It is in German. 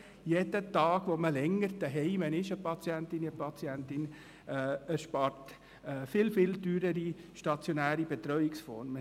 Jeder Tag, an dem ein Patient, eine Patientin länger zu Hause ist, erspart sehr viel teurere stationäre Betreuungsformen.